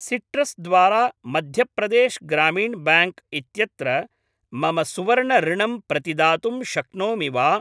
Citrus द्वारा Madhya Pradesh Gramin bank इत्यत्र मम सुवर्णऋणम् प्रतिदातुं शक्नोमि वा?